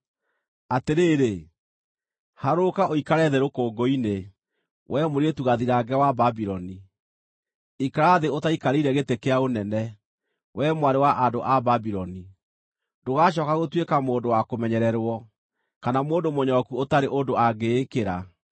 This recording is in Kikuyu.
“Atĩrĩrĩ, harũrũka ũikare thĩ rũkũngũ-inĩ, wee Mũirĩtu Gathirange wa Babuloni; ikara thĩ ũtaikarĩire gĩtĩ kĩa ũnene, wee Mwarĩ wa andũ a Babuloni. Ndũgacooka gũtuĩka mũndũ wa kũmenyererwo, kana mũndũ mũnyoroku ũtarĩ ũndũ angĩĩkĩra.